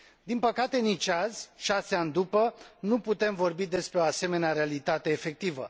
Din păcate, nici azi, șase ani după, nu putem vorbi despre o asemenea realitate efectivă.